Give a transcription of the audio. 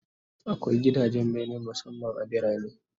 Akwai gidajen bene musamman a birane